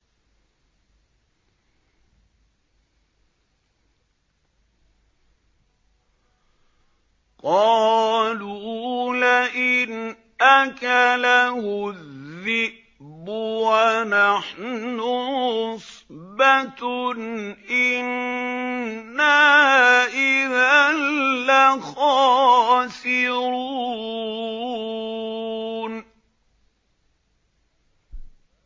قَالُوا لَئِنْ أَكَلَهُ الذِّئْبُ وَنَحْنُ عُصْبَةٌ إِنَّا إِذًا لَّخَاسِرُونَ